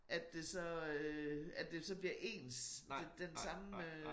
At det så øh at det så bliver ens det den samme øh